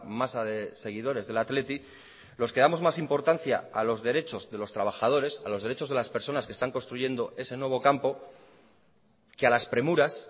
masa de seguidores del athletic los que damos más importancia a los derechos de los trabajadores a los derechos de las personas que están construyendo ese nuevo campo que a las premuras